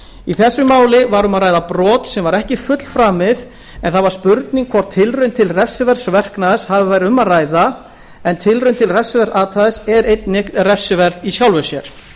í þessu máli var um að ræða brot sem var ekki fullframið en það var spurning hvort tilraun til refsiverðs verknaðar hafi verið um að ræða en tilraun til refsiverðs athæfis er einnig refsiverð í sjálfu sér